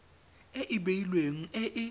e e beilweng e e